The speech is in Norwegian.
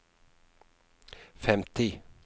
femti